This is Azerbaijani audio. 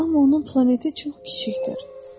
Amma onun planeti çox kiçikdir.